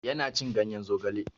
Ya na cin ganyen zogale.